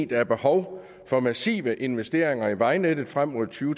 der er behov for massive investeringer i vejnettet frem mod to